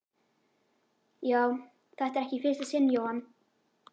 Já, þetta er ekki í fyrsta sinn Jóhann.